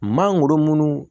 Mangoro munnu